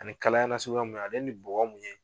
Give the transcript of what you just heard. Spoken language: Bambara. Ani kalaya nasuguya mun ye, a ale ni bɔgɔ mun ye